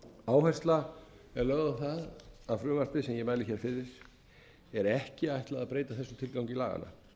áhersla er lögð á það að frumvarpinu sem ég mæli fyrir er ekki ætlað að breyta þessum tilgangi laganna